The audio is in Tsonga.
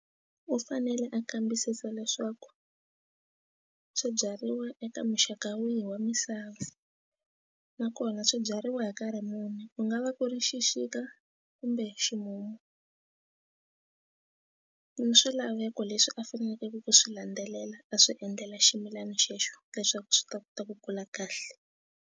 U fanele a kambisisa leswaku swibyariwa eka muxaka wihi wa misava nakona swi byariwa hi nkarhi muni u nga va ku ri xixika kumbe ximumu mi swilaveko leswi a faneleke ku swi landzelela a swi endlela ximilana xexo leswaku swi ta kota ku kula kahle.